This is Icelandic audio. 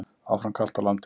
Áfram kalt á landinu